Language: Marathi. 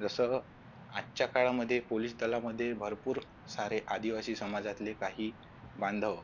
जस आजच्या काळामध्ये पोलीस दलामध्ये भरपूर सारे आदिवासी समाजातील काही बांधव